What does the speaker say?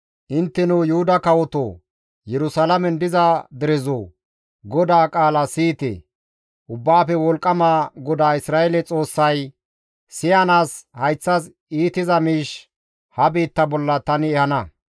‹Intteno Yuhuda kawoto! Yerusalaamen diza derezoo! GODAA qaala siyite! Ubbaafe Wolqqama GODAA Isra7eele Xoossay: Siyanaas hayththas iitiza miish ha biitta bolla tani ehana.